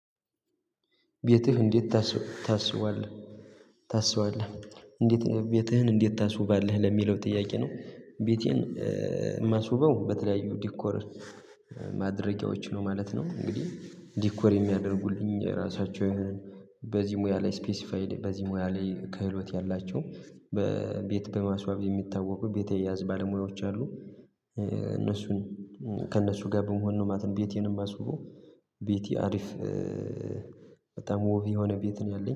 ቤትህ እንዴት ታስ ታስዋለህ ታስዋለህ እንዴት ቤትህን እንዴት ታስውባለህ ለሚለው ጥያቄ ነው? ቤቴን የማስውበው በተለያዩ ዲኮር ማድረጊያዎች ነው ማለት ነው። እንግዲህ ዲኮር የሚያደርጉልኝ ራሳቸው ይሁን በዚህ ሙያ ላይ ስፔሲፋይድ በዚህ ሙያ ላይ ከህሎት ያላቸው በቤት በማስዋብ የሚታወቁ ቤት አያያዝ ባለሙያዎች አሉ። እነሱን ከእነሱ ጋ በመሆን ነው ማለት ነው። ቤቴንም የማስውበው ቤቴ አሪፍ የሆነ ወብ ቤት ነው ያለኝ